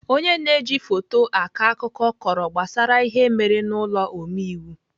Ọnye na-eji foto akọ akụkọ kọrọ gbasara ihe mere n'ụlọ omeiwu.